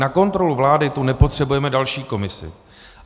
Na kontrolu vlády tu nepotřebujeme další komisi.